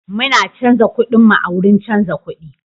Muna canza kudinmu a wurin canza kudi.